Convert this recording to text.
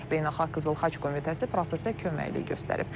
Beynəlxalq Qızıl Xaç Komitəsi prosesə köməklik göstərib.